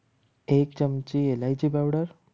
એક ચમચી ઈલાયચી powder